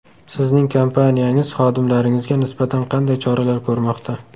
Sizning kompaniyangiz xodimlaringizga nisbatan qanday choralar ko‘rmoqda?